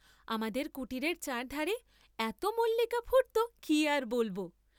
আমাদের কুটীরের চার ধারে এত মল্লিকা ফুট্‌তো কি আর বলব?